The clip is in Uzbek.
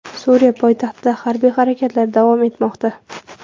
Suriya poytaxtida harbiy harakatlar davom etmoqda.